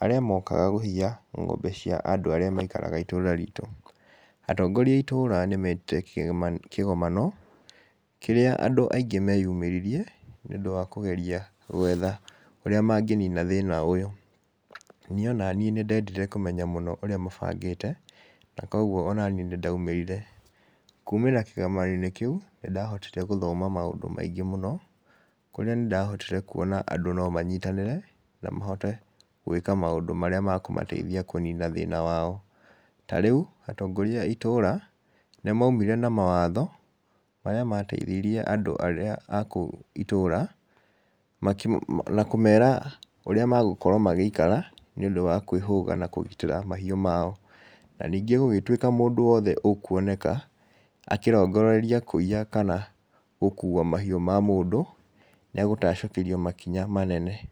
arĩa mookaga kũiya ng'ombe cia andũ arĩa maikaraga itũũra ritũ. Atongoria a itũũra nĩmetire kĩgema, kĩgomano kĩrĩa andũ aingĩ meyumĩririe, nĩũndũ wa kũgeria gwetha ũrĩa mangĩnina thĩna ũyũ. Niĩ onaniĩ nĩndendire kũmenya mũno ũrĩa mabangĩte, na kwogwo onaniĩ nĩndaumĩrire. Kuumĩra kĩgomano-inĩ kĩu nĩndahotire gũthoma maũndũ maingĩ mũno, kũrĩa nĩndahotire kuona andũ nomanyitanĩre na mahote gwĩka maũndũ marĩa ma kũmateithia kũnina thĩna wao. Ta rĩu atongoria a itũũra nĩmaumire na mawatho, marĩa mateithirie andũ arĩa akũu itũũra makĩ, na kũmera ũrĩa magũkorwo magĩikara nĩũndũ wa kwĩhũga na kũgitĩra mahiũ mao. Na ningĩ gũgĩtuĩka mũndũ wothe ũkuoneka akĩrongoreria kũiya, kana gũkua mahiũ ma mũndũ, nĩegũtacũkĩrio makinya manene.